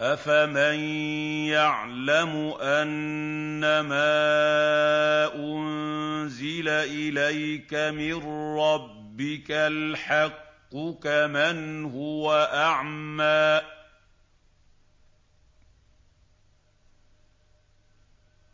۞ أَفَمَن يَعْلَمُ أَنَّمَا أُنزِلَ إِلَيْكَ مِن رَّبِّكَ الْحَقُّ كَمَنْ هُوَ أَعْمَىٰ ۚ